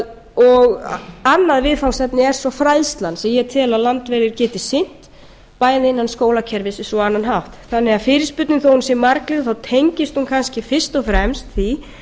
á annað viðfangsefni er svo fræðslan sem ég tel að landverðir geti sinnt bæði innan skólakerfisins og á annan hátt fyrirspurnin þó að hún sé margliðuð tengist hún kannski fyrst og fremst því